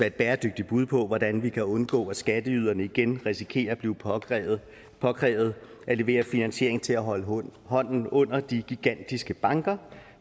et bæredygtigt bud på hvordan vi kan undgå at skatteyderne igen risikerer at blive påkrævet påkrævet at levere finansiering til at holde hånden under de gigantiske banker